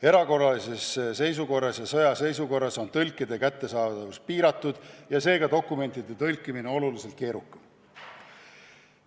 Erakorralises seisukorras ja sõjaseisukorras on tõlkide kättesaadavus piiratud ja seega dokumentide tõlkimine oluliselt keerukam.